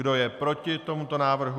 Kdo je proti tomuto návrhu?